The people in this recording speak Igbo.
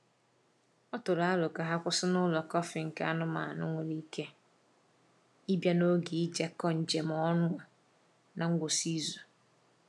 O tụrụ aro ka ha kwụsị n’ụlọ kọfị nke anụmanụ nwere ike ịbịa n’oge ijekọ njem ọnụ n’ngwụsị izu.